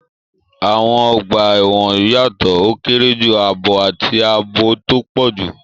Àwọn ọgbà ẹ̀wọ̀n yàtọ̀: ó kéré jù, ààbọ̀, àti ààbò tó pọ̀ jù.